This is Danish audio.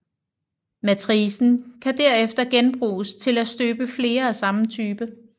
Matricen kan derefter genbruges til at støbe flere af samme type